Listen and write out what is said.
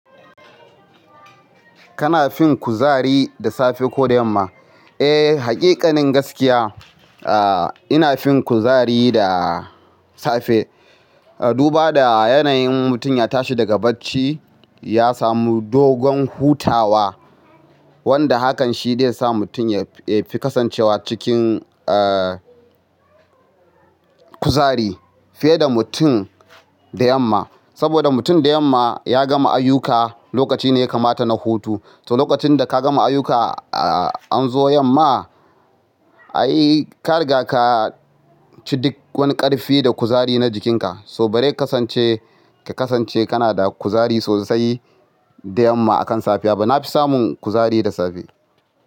Kana fin kuzari da safe ko da yamma? Eh, haƙiƙanin gaskiya. Aaa, ina fin kuzari da safe. Duba da yanayin mutum ya tashi daga bacci, ya samu dogon hutawa wanda hakan shi zai sa mutum ya fi kasancewa cikin, eee, kuzari fiye da mutum da yamma. Saboda mutum da yamma ya gama ayyuka, lokaci ne ya kamata na hutu. To lokacin da ka gama ayyuka, aa, an zo yamma, ai ka riga ka ci duk wani ƙarfi da kuzari na jikinka. So ba zai kasance, ka kasance kana da kuzari sosai da yamma akan safiya ba. Na fi samun kuzari da safe.